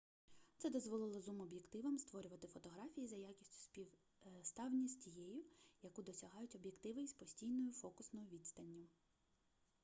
це дозволило зум-об'єктивам створювати фотографії за якістю співставні із тією яку досягають об'єктиви із постійною фокусною відстанню